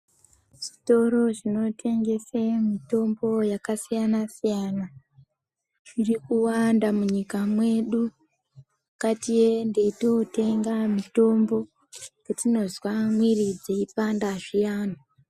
Zvitoro zvinotengesa mutombo yakasiyana siyana zvirikuwanda munyika mwedu. Ngatiende tootenga mitombo patinozwe miri dzeipanda zviyani.